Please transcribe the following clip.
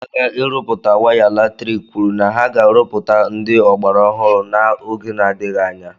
Ndi Odi N'aka Irụpụta Waya Latrịkị Kwụrụ Na Ha Ga Arụpụta Ndị Ọgbara Ọhụụ N' Oge Na Adịghị Anya